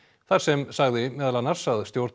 þar sem sagði meðal annars að stjórn